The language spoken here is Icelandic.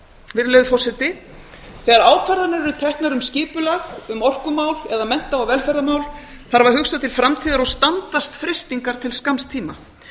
virðulegur forseti þegar ákvarðanir eru teknar um skipulag um orkumál eða mennta og velferðarmál þarf að hugsa til framtíðar og standast freistingar til skamms tíma